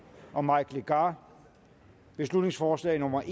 og mike legarth beslutningsforslag nummer